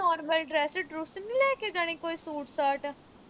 normal dress ਡਰੂਸ ਨੀਂ ਲੈ ਕੇ ਜਾਣੀ ਕੋਈ ਸੂਟ-ਸਾਟ